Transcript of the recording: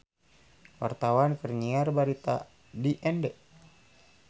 Wartawan keur nyiar berita di Ende